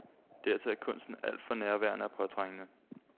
Dertil er kunsten alt for nærværende og påtrængende.